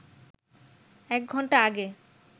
এক ঘণ্টা আগে